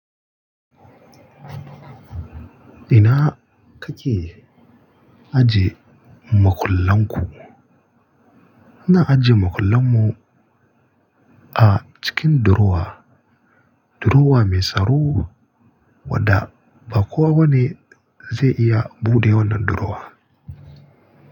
Ina kake ajiye makullan ku? Muna ajiye makullan mu a cikin durowa, durowa mai tsaro wadda ba kowa wane zai iya buɗe wannan durowa.